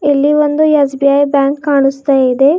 ಇಲ್ಲಿ ಒಂದು S B I bank ಕಾಣುಸ್ತ ಇದೆ.